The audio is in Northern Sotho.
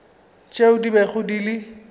tšeo di bego di le